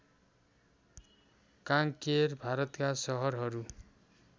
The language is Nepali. कांकेर भारतका सहरहरू